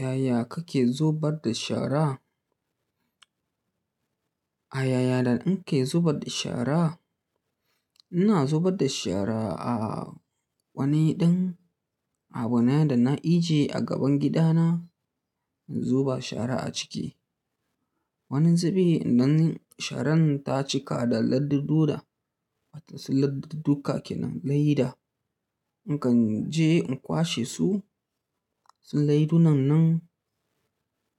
Yaya kake zubar da shara? A yaya da in ke zubar da shara, ina zubar da shara a wani ɗan abu ne da na ijiye a gaban gida na in zuba shara a ciki. Wani zubi idan sharan ta cika da ladduɗuɗa, wato su ladduɗuɗuka ke nan leda. In kan je in kwashe su, su leidunan nan